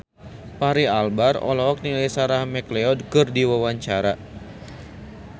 Fachri Albar olohok ningali Sarah McLeod keur diwawancara